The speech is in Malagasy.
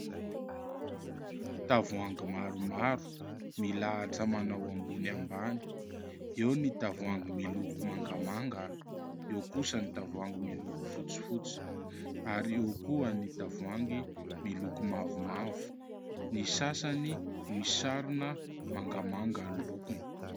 Tavoahangy maromaro milahatra manao ambony ambany : eo ny tavoahangy miloko mangamanga, eo kosa ny tavoahangy miloko fotsifotsy ary eo ihany koa ny tavoahangy miloko mavomavo ; ny sasany misarona mangamanga ny lokony.